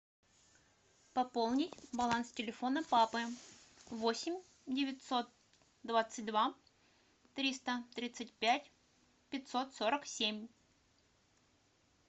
пополнить баланс телефона папы восемь девятьсот двадцать два триста тридцать пять пятьсот сорок семь